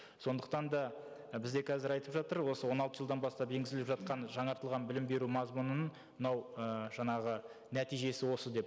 сондықтан да і бізде қазір айтып жатыр осы он алты жылдан бастап енгізіліп жатқан жаңартылған білім беру мазмұнының мынау і жаңағы нәтижесі осы деп